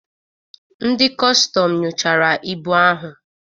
Ndị kọstọm nyochara ibu ahụ.